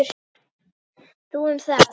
Þú um það.